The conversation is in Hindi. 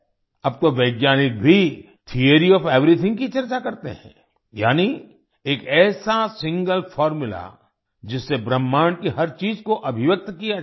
अब तो वैज्ञानिक भी थियोरी ओएफ एवरीथिंग की भी चर्चा करते हैं यानी एक ऐसा सिंगल फॉर्मुला जिससे ब्रह्मांड की हर चीज को अभिव्यक्त किया जा सके